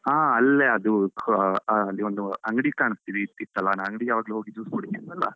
ಹಾ ಅಲ್ಲೇ ಅದು ಕ ಆಹ್ ಅಲ್ಲಿ ಒಂದು ಅಂಗಡಿ ಕಾಣಿಸ್ತೀತಲ್ಲ ಅಂಗಡಿ ಯಾವಾಗ್ಲೂ ಹೋಗಿ juice ಕುಡಿತಿದ್ವಲ್ಲಾ.